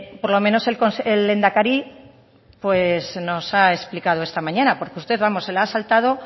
por lo menos el lehendakari pues nos ha explicado esta mañana porque usted vamos se la ha saltado